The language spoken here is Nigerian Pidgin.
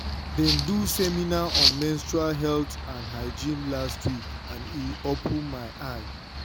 dem do seminar on menstrual health and hygiene last week and e open my eye.